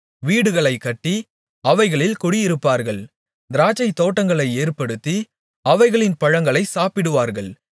வீடுகளைக் கட்டி அவைகளில் குடியிருப்பார்கள் திராட்சைத்தோட்டங்களை ஏற்படுத்தி அவைகளின் பழங்களைச் சாப்பிடுவார்கள்